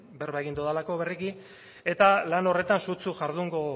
berba egin dodalako berriki eta lan horretan sutsu jardungo